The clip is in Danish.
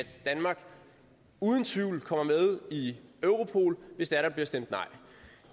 danmark uden tvivl kommer med i europol hvis det er der bliver stemt nej